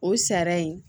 O sariya in